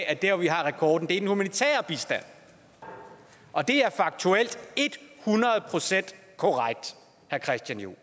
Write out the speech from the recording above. at der hvor vi har rekorden til den humanitære bistand og det er faktuelt et hundrede procent korrekt herre christian juhl